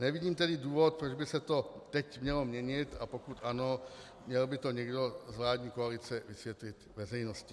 Nevidím tedy důvod, proč by se to teď mělo měnit, a pokud ano, měl by to někdo z vládní koalice vysvětlit veřejnosti.